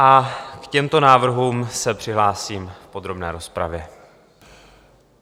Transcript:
A k těmto návrhům se přihlásím v podrobné rozpravě.